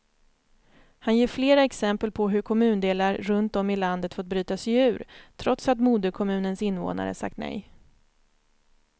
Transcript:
Han ger flera exempel på hur kommundelar runt om i landet fått bryta sig ur, trots att moderkommunens invånare sagt nej.